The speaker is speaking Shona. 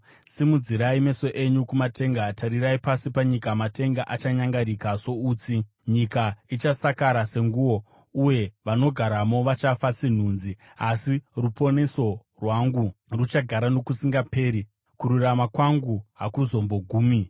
Simudzirai meso enyu kumatenga, tarirai pasi panyika; matenga achanyangarika soutsi, nyika ichasakara senguo, uye vanogaramo vachafa senhunzi. Asi ruponeso rwangu ruchagara nokusingaperi, kururama kwangu hakuzombogumi.